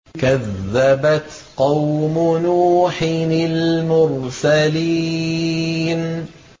كَذَّبَتْ قَوْمُ نُوحٍ الْمُرْسَلِينَ